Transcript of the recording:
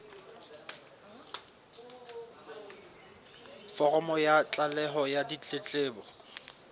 foromo ya tlaleho ya ditletlebo